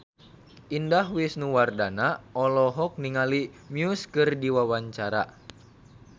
Indah Wisnuwardana olohok ningali Muse keur diwawancara